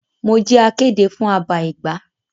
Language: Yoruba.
Mo jẹ akéde fún àbá Ẹgba.